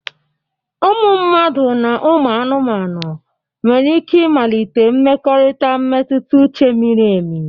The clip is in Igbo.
Ụmụ mmadụ na ụmụ anụmanụ nwere ike ịmalite mmekọrịta mmetụta uche miri emi.